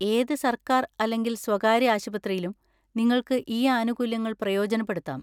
ഏത് സർക്കാർ അല്ലെങ്കിൽ സ്വകാര്യ ആശുപത്രിയിലും നിങ്ങൾക്ക് ഈ ആനുകൂല്യങ്ങൾ പ്രയോജനപ്പെടുത്താം.